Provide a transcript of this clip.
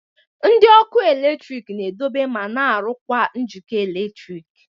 Ndị ọkụ eletrik na-edobe ma na-arụkwa njikọ eletrik